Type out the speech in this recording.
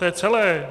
To je celé.